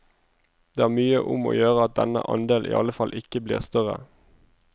Det er mye om å gjøre at denne andel iallfall ikke blir større.